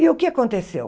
E o que aconteceu?